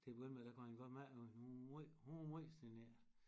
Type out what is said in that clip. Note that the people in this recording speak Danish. Til at begynde med der kunne han godt mærke at hun var måj hun var måj genert